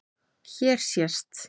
Hér sést